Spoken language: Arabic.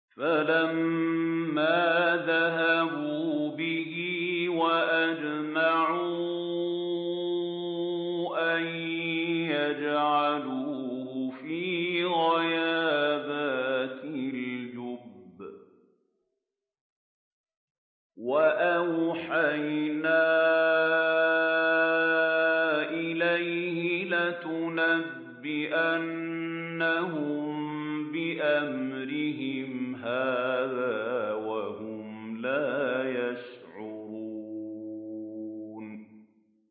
فَلَمَّا ذَهَبُوا بِهِ وَأَجْمَعُوا أَن يَجْعَلُوهُ فِي غَيَابَتِ الْجُبِّ ۚ وَأَوْحَيْنَا إِلَيْهِ لَتُنَبِّئَنَّهُم بِأَمْرِهِمْ هَٰذَا وَهُمْ لَا يَشْعُرُونَ